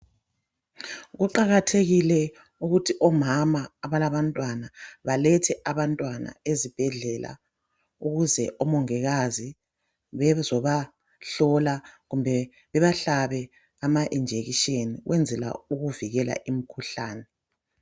Kuqakathekile ukuthi omama abalabantwana balethe abantwana ezibhedlela ukuze omongikazi bezobahlola kumbe bebahlabe ama injection ukwenzela ukuvikela imikhuhlane.